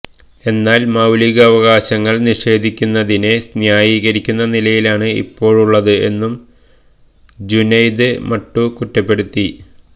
എന്നാല് മൌലികാവകാശങ്ങള് നിഷേധിക്കുന്നതിനെ ന്യായീകരിക്കുന്ന നിലയാണ് ഇപ്പോളുള്ളത് എന്നും ജുനെയ്ദ് മട്ടു കുറ്റപ്പെടുത്തി